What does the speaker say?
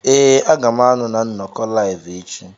Ee, a ga m anọ na nnọkọ Live echi.